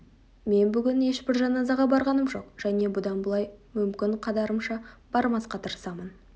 мен бүгін ешбір жаназаға барғаным жоқ және бұдан былай мүмкін қадарымша бармасқа тырысармын